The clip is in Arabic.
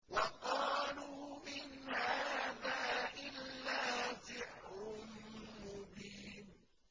وَقَالُوا إِنْ هَٰذَا إِلَّا سِحْرٌ مُّبِينٌ